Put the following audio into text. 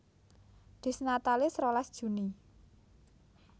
Dies Natalis rolas Juni